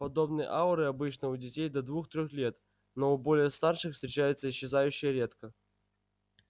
подобные ауры обычны у детей до двух-трёх лет но у более старших встречаются исчезающе редко